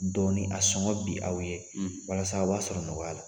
Dɔɔinn a sɔngɔ bin aw ye walasa aw b'a sɔrɔ nɔgɔya la